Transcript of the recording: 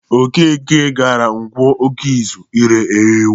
Okeke gara Nkwọ Ọkụzụ ire ewu.